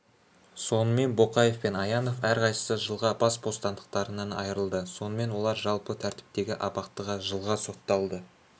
сонымен боқаев пен аянов әрқайсысы жылға бас бостандықтарынан айырылды сонымен олар жалпы тәртіптегі абақтыға жылға сотталды